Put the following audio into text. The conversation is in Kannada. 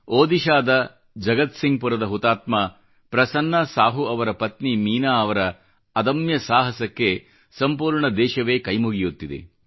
ಒಡಿಶಾದ ಜಗತ್ಸಿಂಗ್ಪುರದ ಹುತಾತ್ಮ ಪ್ರಸನ್ನ ಸಾಹು ಅವರ ಪತ್ನಿ ಮೀನಾ ಅವರ ಅದಮ್ಯ ಸಾಹಸಕ್ಕೆ ಸಂಪೂರ್ಣ ದೇಶವೇ ಕೈ ಮುಗಿಯುತ್ತಿದೆ